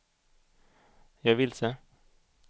jag är vilse